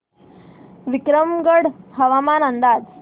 विक्रमगड हवामान अंदाज